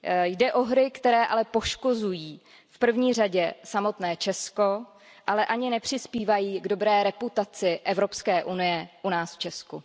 Jde o hry, které ale poškozují v první řadě samotné Česko, ale ani nepřispívají k dobré reputaci Evropské unie u nás v Česku.